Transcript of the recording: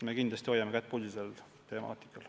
Me kindlasti hoiame kätt pulsil selle temaatika puhul.